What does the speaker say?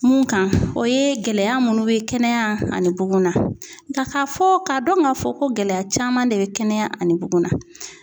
Mun kan o ye gɛlɛya munnu bɛ kɛnɛya ani bugun na k'a fɔ k'a dɔn ka fɔ ko gɛlɛya caman de bɛ kɛnɛya ani bugun na